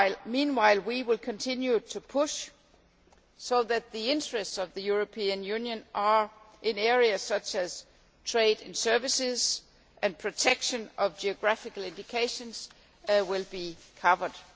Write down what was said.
Meanwhile, we will continue to push so that the interests of the European Union in areas such as trade and services, and protection of geographical indications, are covered.